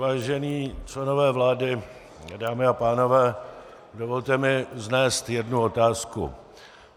Vážení členové vlády, dámy a pánové, dovolte mi vznést jednu otázku.